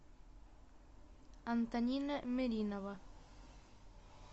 антонина меринова